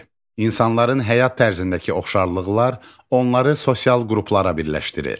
İnsanların həyat tərzindəki oxşarlıqlar onları sosial qruplara birləşdirir.